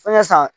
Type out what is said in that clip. Foɲɛ san